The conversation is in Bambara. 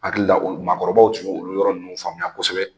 N hakili la makɔrɔbaw tun ye olu yɔrɔ ninnu faamuya kosɛbɛ